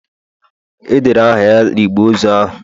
edere aha ya na igbe ozu ahu